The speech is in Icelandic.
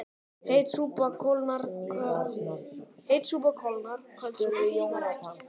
Heit súpa kólnar köld súpa hitnar ekki